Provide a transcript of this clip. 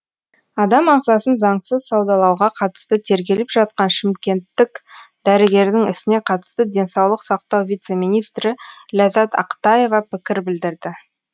адам ағзасын заңсыз саудалауға қатысты тергеліп жатқан шымкенттік дәрігердің ісіне қатысты денсаулық сақтау вице министрі ләззат ақтаева пікір білдірді